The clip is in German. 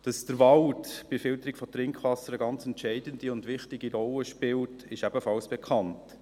Dass der Wald bei der Filterung von Trinkwasser eine ganz entscheidende und wichtige Rolle spielt, ist ebenfalls bekannt.